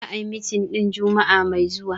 The meeting will be holding next week Friday.